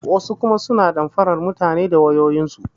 Wasu kuma suna damfaran mutane da wayoyin su.